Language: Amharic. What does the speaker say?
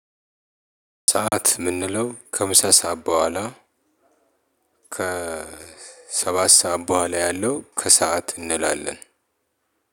ከሰአት የምንለው ከምሳ ሰዓት በኋላ። ከ ሰባት ሰዓት በኋላ ያለው ከሰአት እንላለን።